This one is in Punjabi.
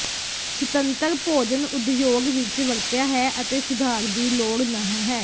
ਸੁਤੰਤਰ ਭੋਜਨ ਉਦਯੋਗ ਵਿੱਚ ਵਰਤਿਆ ਹੈ ਅਤੇ ਸੁਧਾਰ ਦੀ ਲੋੜ ਨਹ ਹੈ